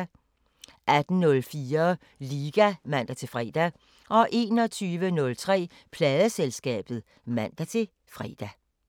18:04: Liga (man-fre) 21:03: Pladeselskabet (man-fre)